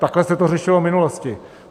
Takhle se to řešilo v minulosti.